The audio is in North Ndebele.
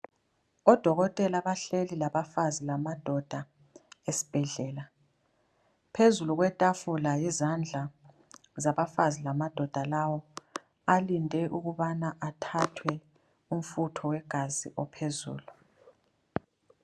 Odokothela bahleli labafazi lamadoda esibhedlela .Phezulu kwetafula yizandla zabafazi lamadoda lawa balinde ukubana bathathwe umfutho wegazi ophezulu.